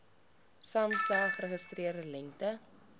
samsa geregistreerde lengte